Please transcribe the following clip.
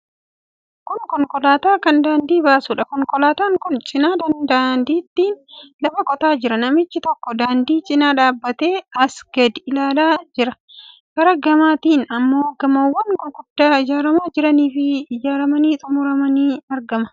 Kun konkolaataa kan daandii baasuudha. Konkolaataan kun cina daandiitiin lafa qotaa jira. Namichi tokko daandii cina dhaabbatee asii gad ilaalaa jira. Karaa gamaatiin immoo gamoowwan guguddoo ijaaramaa jiraniifi ijaaramanii xumuramantu argama.